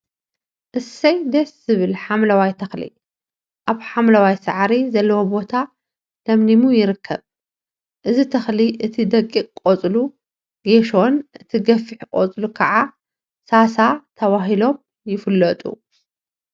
እሰይ ደስ ዝብል ሓምለዋይ ተክሊ አብ ሓምለዋይ ሳዕሪ ዘለዎ ቦታ ለምሊሙ ይርከብ፡፡ እዚ ተክሊ እቲ ደቂቅ ቆፅሉ ጌሾን እቲ ገፊሕ ቆፅሉ ከዓ ሳሳ ተባሂሎም ይፍለጡ፡፡